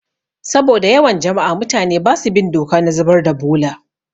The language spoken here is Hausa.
Saboda yawan jama'a, mutane basu bin doka na zubar da bola